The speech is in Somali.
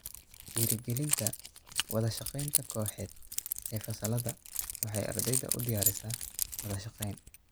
Dhiirigelinta wada shaqaynta kooxeed ee fasallada waxay ardayda u diyaarisaa wada shaqayn.